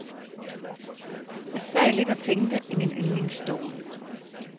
Jeg sad lidt og tænkte i min yndlingsstol.